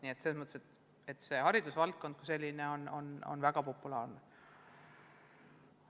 Nii et selles mõttes on haridusvaldkond väga populaarne.